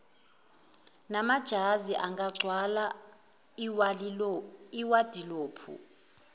namajazi angagcwala iwadilophu